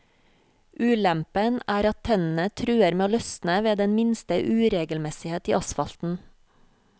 Ulempen er at tennene truer med å løsne ved den minste uregelmessighet i asfalten.